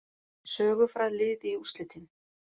Sögufræg lið í úrslitin